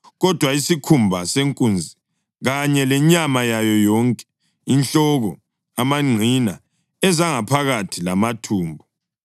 Kodwa isikhumba senkunzi kanye lenyama yayo yonke, inhloko, amangqina, ezangaphakathi lamathumbu,